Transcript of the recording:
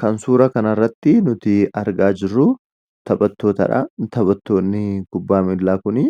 Kan suura kanarratti nuti argaa jirruu taphattootaadha. Taphattoonni kubbaa miilaa kunii